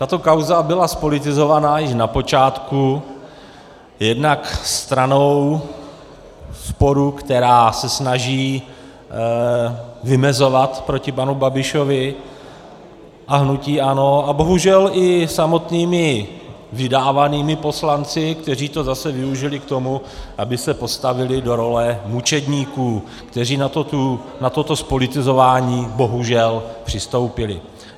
Tato kauza byla zpolitizovaná již na počátku jednak stranou sporu, která se snaží vymezovat proti panu Babišovi a hnutí ANO, a bohužel i samotnými vydávanými poslanci, kteří to zase využili k tomu, aby se postavili do role mučedníků, kteří na toto zpolitizování bohužel přistoupili.